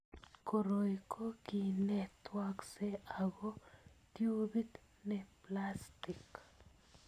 Koroi ko ki ne twaaksei ako tubit ne plastik.